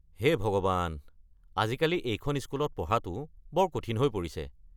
হে ভগৱান, আজিকালি এইখন স্কুলত পঢ়াটো বৰ কঠিন হৈ পৰিছে।